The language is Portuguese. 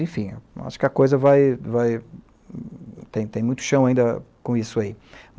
Enfim, acho que a coisa vai... Vai Tem muito chão ainda com isso aí.